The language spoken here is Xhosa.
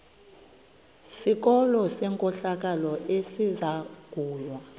sikolo senkohlakalo esizangulwa